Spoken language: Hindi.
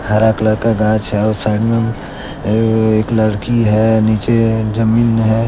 हरा कलर का घास है और साइड मे एक लड़की है नीचे जमीन है।